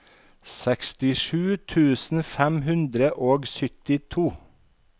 sekstisju tusen fem hundre og syttito